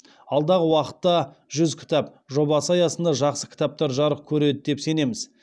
алдағы уақытта жүз кітап жобасы аясында жақсы кітаптар жарық көреді деп сенеміз